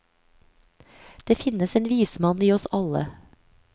Det finnes en vismann i oss alle.